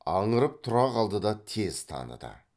аңырып тұра қалды да тез таныды